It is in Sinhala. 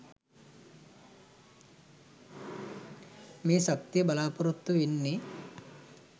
මේ ශක්තිය බලාපොරොත්තු වෙන්නෙ?